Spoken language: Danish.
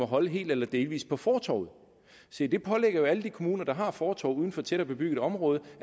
holde helt eller delvis på fortovet se det pålægger jo alle de kommuner der har fortov uden for tættere bebygget område